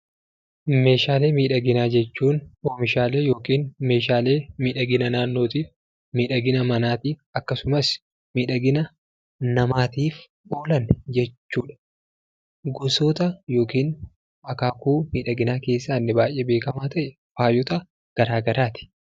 Meeshaalee miidhaginaa jechuun oomishaalee yookiin meeshaalee miidhagina naannootiif, miidhagina manaatiif, akkasumas miidhagina namaatiif oolan jechuu dha. Gosoota (akaakuu) miidhaginaa keessaa inni baay'ee beekamaa ta'e, faayota garaagaraa ti.